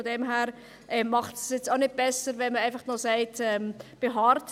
Von daher macht es das jetzt auch nicht besser, wenn man einfach noch darauf beharrt.